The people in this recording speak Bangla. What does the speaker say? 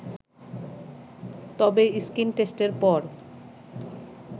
তবে স্ক্রিণটেস্টের পর